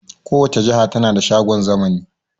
Kowace jiha na da shagon zamani